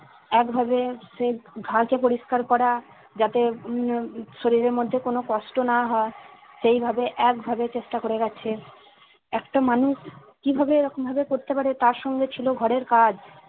একভাবে সে ঘা কে পরিষ্কার করা যাতে উম আহ শরীরের মধ্যে কোনো কষ্ট না হয় সেইভাবে একভাবে চেষ্টা করে গেছে একটা মানুষ কিভাবে এরকম ভাবে করতে পারে তার সঙ্গে ছিল ঘরের কাজ